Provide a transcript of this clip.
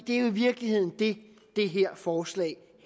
er jo i virkeligheden det det her forslag